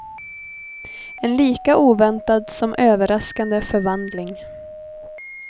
En lika oväntad som överraskande förvandling.